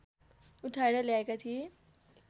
उठाएर ल्याएका थिए